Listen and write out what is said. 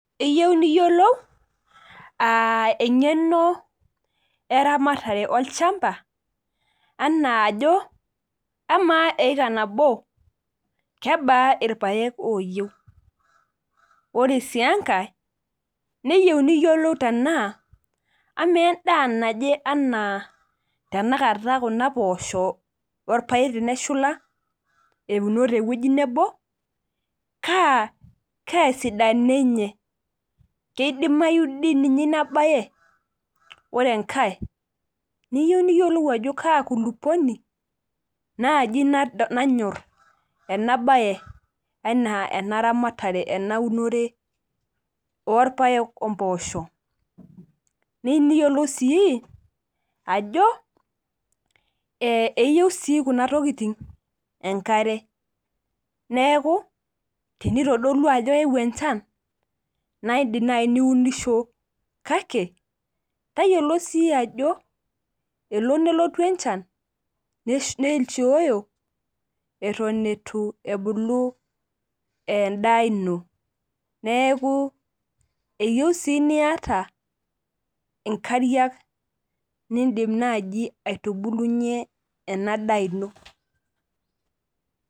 Iyieu niyiolou eng'eno eramatare olchamba, anaajo, amaa eeka nabo, kebaa irpaek oyieu? Ore si enkae, neyieu niyiolou tenaa, amaa endaa naje anaa tanakata kuna poosho orpaek teneshula euno tewueji nebo, kaa esidano enye?. Kidimayu dininye inabae? Ore enkae, niyieu niyiolou ajo kaa kulukuoni, naaji nanyor enabae enaa enaramatare enaunore orpaek ompoosho. Neyu niyiolou si ajo eyieu si kuna tokiting enkare. Neeku, tenitodolua ajo eewuo enchan, na idim nai niunisho kake, tayiolo si ajo elo nelotu enchan, netioyo eton itu ebulu endaa ino. Neeku eyieu si niata inkariak nidim naji aitubulunye enadaa ino.